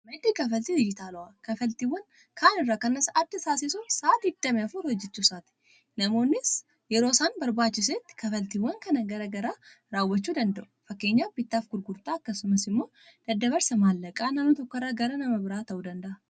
Maddii kanfaaltii dijitaalawaa kanfaltiiwwan kaan irraa kan isa adda taasisu sa'aatii digdami afur hojjechuu isaati. Namoonnis yeroo isaan barbaachisetti kanfaltiiwwan kan garaa garaa raawwachuu danda'u. Fakkeenya bittaaf gurgurtaa akkasumas immoo daddaabarsa maallaqaa nannoo tokko irraa gara nama biraa ta'uu danda'a.